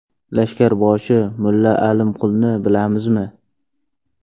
Lashkarboshi Mulla Alimqulni bilamizmi?